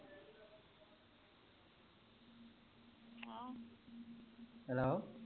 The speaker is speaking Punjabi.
hello